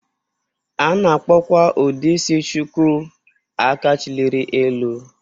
A na-akpọkwa ụdị isi Shuku 'Aka chilịrị elu'